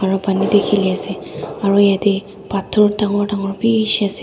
aro Pani tae khiliase aro yatae phator dangor dangor bishi ase.